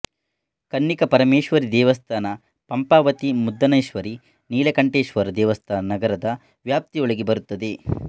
ಕನ್ನಿಕ ಪರಮೇಶ್ವರಿ ದೇವಸ್ಥಾನ ಪಂಪಾಪತಿ ಮುದ್ದಾನೆಶ್ವರಿ ನೀಲಕಂಠೇಶ್ವರ ದೇವಸ್ಥಾನ ನಗರದ ವ್ಯಾಪ್ತಿಯೊಳಗೆ ಬರುತ್ತದೆ